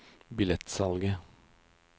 billettsalget